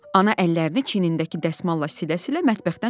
Ana əllərini çinindəki dəsmalla silə-silə mətbəxdən çıxdı.